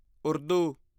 Urdu